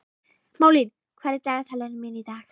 Malín, hvað er í dagatalinu mínu í dag?